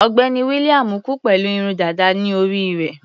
Ọ̀gbẹ́ni William kú pẹ̀lú irun dàda ní orí rẹ̀.